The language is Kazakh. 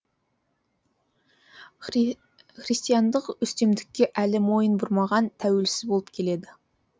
христиандық үстемдікке әлі мойын бұрмаған тәуелсіз болып келеді